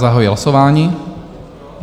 Zahajuji hlasování.